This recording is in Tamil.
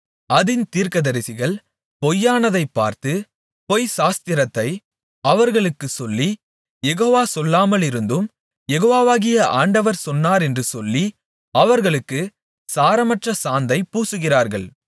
அதின் தீர்க்கதரிசிகள் பொய்யானதை பார்த்து பொய்ச்சாஸ்திரத்தை அவர்களுக்குச் சொல்லி யெகோவா சொல்லாமலிருந்தும் யெகோவாகிய ஆண்டவர் சொன்னாரென்று சொல்லி அவர்களுக்குச் சாரமற்ற சாந்தைப் பூசுகிறார்கள்